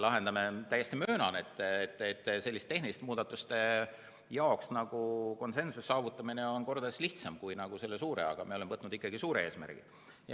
Täiesti möönan, et selliste tehniliste muudatuste jaoks konsensuse saavutamine on mitu korda lihtsam, aga me oleme võtnud ikkagi selle suure eesmärgi.